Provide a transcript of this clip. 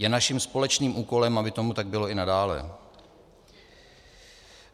Je naším společným úkolem, aby tomu tak bylo i nadále.